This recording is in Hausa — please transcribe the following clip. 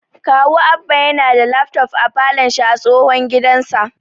Kawu Abba yana da lafton a falon shi a tsohon gidansa